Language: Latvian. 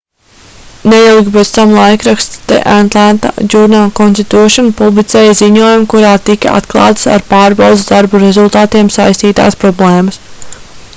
neilgi pēc tam laikraksts the atlanta journal-constitution publicēja ziņojumu kurā tika atklātas ar pārbaudes darbu rezultātiem saistītās problēmas